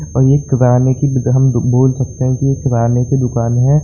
और ये किराने की भी द हम बोल सकते हैं की ये किराने की दुकान है।